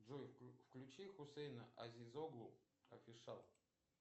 джой включи хусейна азозоглу нр